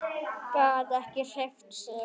Gat ekki hreyft sig.